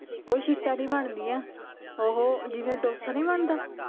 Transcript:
ਉਹ ਸ਼ੀਟਾਂ ਦੀ ਬਣਦੀ ਆ ਓਹੋ ਜਿਵੇ ਡੋਸਾ ਨੀ ਬਣਦਾ